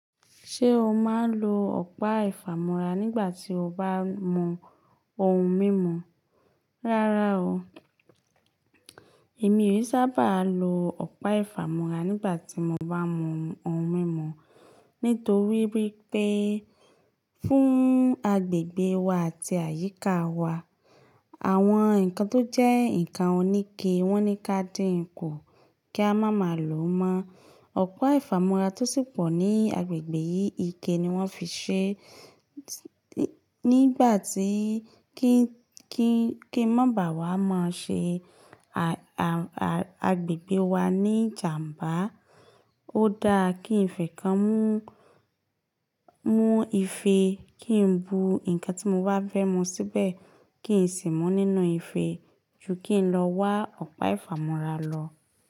Ṣé o máa ń lo ọ̀pá ìfàmọ́ra nígbà tí o bá mú ohun mímu? Rárá o, èmi ò saábà lo ọ̀pá ìfàmọ́ra nígbà tí mo bá mú ohun mímu nítorí wípé fún agbègbè wa àti àyíká wa, àwọn nǹkan tó jẹ́ ǹkan oníke wọ́n ní ká dínkù kí a má má lò mọ́. Ọ̀pá ìfàmọ́ra tó sì pọ̀ ní agbègbè yìí ike ni wọ́n fi ṣẹ. Nígbà tí kí ń ma bà wá máa ṣe àgbègbè wa ní ìjàm̀bá, ó dáa kí ń fẹ́ kàn mú ife kí ń bu nkan tí mo bá fẹ́ mú síbẹ̀, kí ń sì mú nínú ife ju kí ń lọ wá ọ̀pá ìfàmọ́ra lọ.